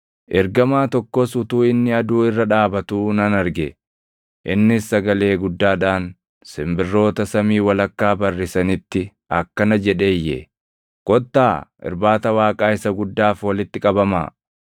Ergamaa tokkos utuu inni aduu irra dhaabatuu nan arge; innis sagalee guddaadhaan simbirroota samii walakkaa barrisanitti akkana jedhee iyye; “Kottaa, irbaata Waaqaa isa guddaaf walitti qabamaa;